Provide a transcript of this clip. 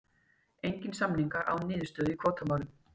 Engir samningar án niðurstöðu í kvótamálum